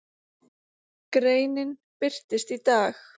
Greinin birtist í dag